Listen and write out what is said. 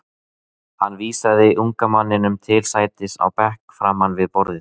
Hann vísaði unga manninum til sætis á bekk framan við borðið.